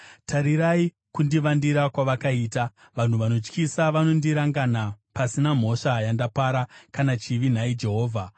Tarirai kundivandira kwavakaita! Vanhu vanotyisa vanondirangana pasina mhosva yandapara kana chivi, nhai Jehovha.